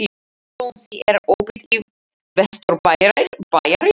Jónsi, er opið í Vesturbæjarís?